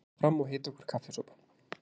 Ég ætla fram og hita okkur kaffisopa.